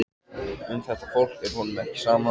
Um þetta fólk er honum ekki sama.